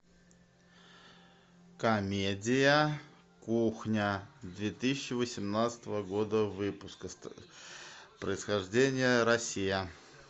комедия кухня две тысячи восемнадцатого года выпуска происхождение россия